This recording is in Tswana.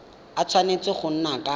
a tshwanetse go nna ka